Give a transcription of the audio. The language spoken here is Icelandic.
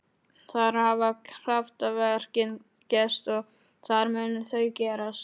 Þar hafa kraftaverkin gerst og þar munu þau gerast.